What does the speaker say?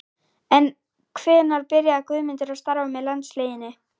En hvenær byrjaði Guðmundur að starfa með landsliðinu?